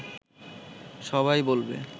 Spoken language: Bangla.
সবাই বলবে